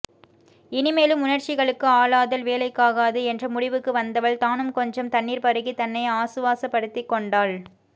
இனிமேலும் உணர்ச்சிகளுக்கு ஆளாதல் வேலைக்காகாது என்ற முடிவுக்கு வந்தவள் தானும் கொஞ்சம் தண்ணீர் பருகி தன்னை ஆசுவாசப்படுத்திக்கொண்டாள்